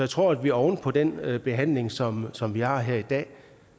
tror at vi oven på den behandling som som vi har her i dag